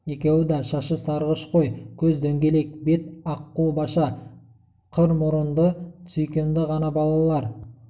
екеуі да шашы сарғыш қой көз дөңгелек бет аққұбаша қыр мұрынды сүйкімді ғана балалар